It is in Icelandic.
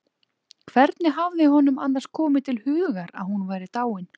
Hvernig hafði honum annars komið til hugar að hún væri dáin?